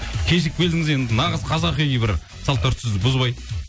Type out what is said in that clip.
кешігіп келдіңіз енді нағыз қазақи бір сал дәстүрді бұзбай